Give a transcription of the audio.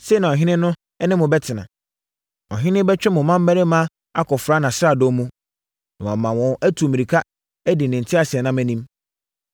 “Sei na ɔhene ne mo bɛtena. Ɔhene bɛtwe mo mmammarima akɔfra nʼasradɔm mu, na wɔama wɔn atu mmirika adi ne nteaseɛnam anim.